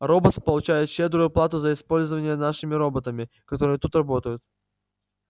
роботс получает щедрую оплату за пользование нашими роботами которые тут работают